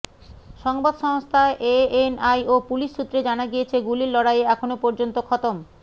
সংবাদসংস্থা ANI ও police সূত্রে জানা গিয়েছে গুলির লড়াইয়ে এখনও পর্যন্ত খতম